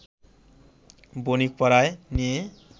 বণিকপাড়ায় নিয়ে